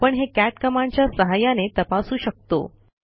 आपण हे कॅट कमांडच्या सहाय्याने तपासू शकतो